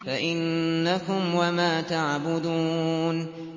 فَإِنَّكُمْ وَمَا تَعْبُدُونَ